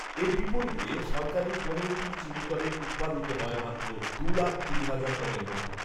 এর বিপরীতে সরকারি পনেরোটি চিনিকলে উৎপাদিত হয় মাত্র দু লাখ কুড়ি হাজার টনের মতো